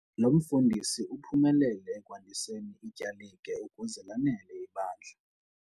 Lo mfundisi uphumelele ekwandiseni ityalike ukuze lanele ibandla.